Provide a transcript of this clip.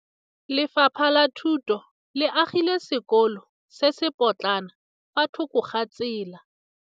Lefapha la Thuto le agile sekôlô se se pôtlana fa thoko ga tsela.